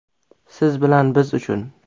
Siz bilan biz uchun.